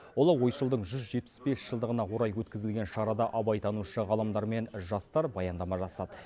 ұлы ойшылдың жүз жетпіс бес жылдығына орай өткізілген шарада абайтанушы ғалымдар мен жастар баяндама жасады